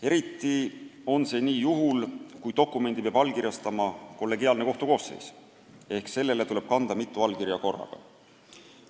Eriti on see nii juhul, kui dokumendi peab allkirjastama kollegiaalne kohtukoosseis ehk sellele tuleb kanda mitu allkirja korraga.